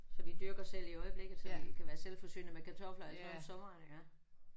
Så vi dyrker selv i øjeblikket så vi kan være selvforsynende med kartofler og alt sådan noget om sommeren iggå